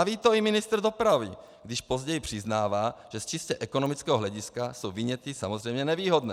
A ví to i ministr dopravy, když později přiznává, že z čistě ekonomického hlediska jsou viněty samozřejmě nevýhodné.